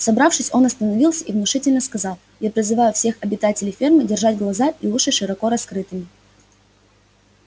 собравшись он остановился и внушительно сказал я призываю всех обитателей фермы держать глаза и уши широко раскрытыми